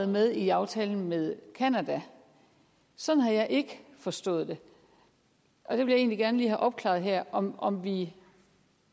med i aftalen med canada sådan har jeg ikke forstået det jeg vil egentlig gerne lige have opklaret her om om vi